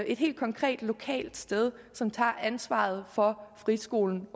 et helt konkret lokalt sted som tager ansvaret for friskolen